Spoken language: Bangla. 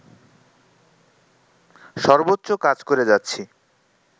সর্বোচ্চ কাজ করে যাচ্ছি